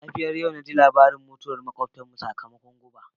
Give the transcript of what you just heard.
Da safiyar yau ji labarin mutuwar makwabtanmu sakamakon guba.